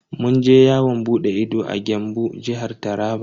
Mun je yawon bude ido a Gembu, Jihar Taraba.